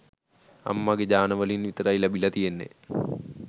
අම්මගේ ජාන වලින් විතරයි ලැබිලා තියෙන්නේ